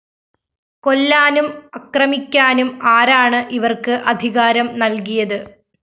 കൊല്ലാനും അക്രമിക്കാനും ആരാണ്‌ ഇവര്‍ക്ക്‌ അധികാരം നല്‍കിയത്‌